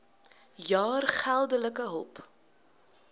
jaar geldelike hulp